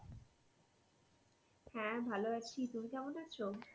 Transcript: হ্যাঁ ভালো আছি তুমি কেমন আছো?